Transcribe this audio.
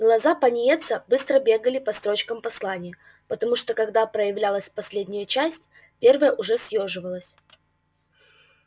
глаза пониетса быстро бегали по строчкам послания потому что когда проявлялась последняя часть первая уже съёживалась